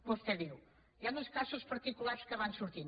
vostè diu hi han uns casos particulars que van sortint